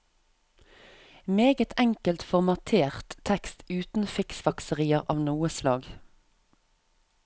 Meget enkelt formatert tekst uten fiksfakserier av noe slag.